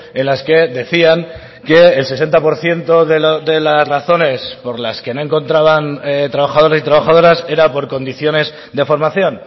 en las que decían que el sesenta por ciento de las razones por las que no encontraban trabajadores y trabajadoras era por condiciones de formación